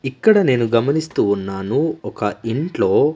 ఇక్కడ నేను గమనిస్తూ ఉన్నాను ఒక ఇంట్లో.